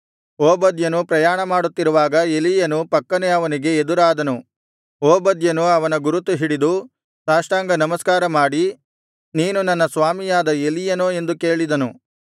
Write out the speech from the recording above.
ಓಬದ್ಯನು ಪ್ರಯಾಣಮಾಡುತ್ತಿರುವಾಗ ಎಲೀಯನು ಪಕ್ಕನೆ ಅವನಿಗೆ ಎದುರಾದನು ಓಬದ್ಯನು ಅವನ ಗುರುತು ಹಿಡಿದು ಸಾಷ್ಟಾಂಗನಮಸ್ಕಾರ ಮಾಡಿ ನೀನು ನನ್ನ ಸ್ವಾಮಿಯಾದ ಎಲೀಯನೋ ಎಂದು ಕೇಳಿದನು